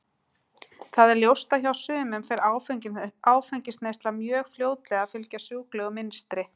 Það er ljóst að hjá sumum fer áfengisneysla mjög fljótlega að fylgja sjúklegu mynstri.